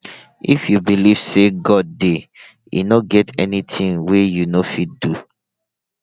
if you believe say god dey e no get anything wey you no go fit do